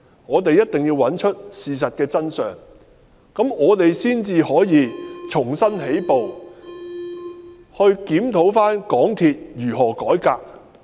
我們一定要找出事情的真相，只有這樣我們才可以重新起步，檢討港鐵公司應如何改革。